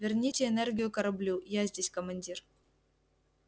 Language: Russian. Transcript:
верните энергию кораблю я здесь командир